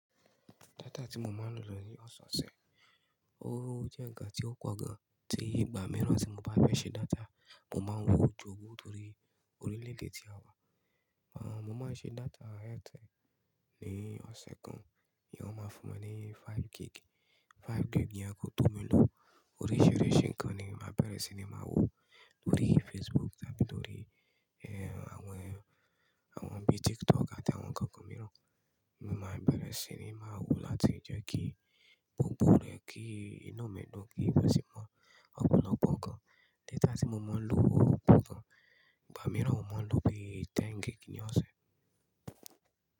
Data tí mo máa ń lò lórí ọ̀sẹ̀ ọ̀sẹ̀, ó jẹ́ ǹkan tí ó pọ̀ gan. Tí ìgbà mìíràn tí mo bá fẹ́ ṣe data, mo máa ń ró o jowú torí oríléde tí a wà. Àn, mo máa ń ṣe data Airtel ní ọ̀sẹ̀ kan, ní wọn máa ń fún mi ní five gig. Five gig ní àkókò tí mo lò oríṣìíríṣìí ǹkan ni màá bẹ̀rẹ̀ sí ní máa wò lórí Facebook tàbí lórí, ẹ́, àwọn, àwọn bíi TikTok àti àwọn ǹkan kan mìíràn. Mo máa bẹ̀rẹ̀ sí ní máa wò láti ìjẹ́ kí gbogbo rẹ̀ kí iná mi dùn kí ó sì mọ ọ̀pọ̀lọpọ̀ ǹkan. Data tí mo máa ń lò wò pọ̀ gan. Ìgbà mìíràn, mo máa ń lò bí i ten gig ní ọ̀sẹ̀.